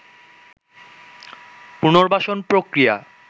পুনর্বাসন প্রক্রিয়া